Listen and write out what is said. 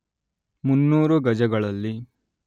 ಮುನ್ನೂರು ಗಜಗಳಲ್ಲಿ